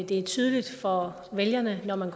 det er tydeligt for vælgeren når man